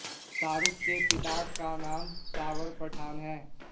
शाहरुख के पिता का नाम शावर पठान है